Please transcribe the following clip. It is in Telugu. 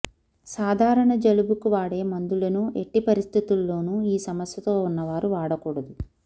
్కసాధారణ జలుబుకు వాడే మందులనూ ఎట్టిపరిస్థితుల్లోనూ ఈ సమస్యతో ఉన్నవారు వాడకూడదు